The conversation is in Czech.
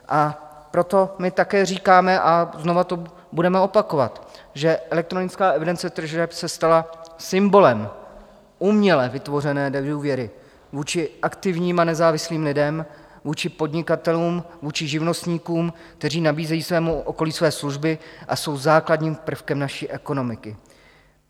A proto my také říkáme, a znovu to budeme opakovat, že elektronická evidence tržeb se stala symbolem uměle vytvořené nedůvěry vůči aktivním a nezávislým lidem, vůči podnikatelům, vůči živnostníkům, kteří nabízejí svému okolí své služby a jsou základním prvkem naší ekonomiky.